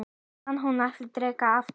Hann mun alltaf drekka aftur.